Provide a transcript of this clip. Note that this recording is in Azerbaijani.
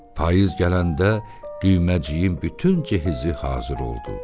Payız gələndə düyməciyin bütün cehizi hazır oldu.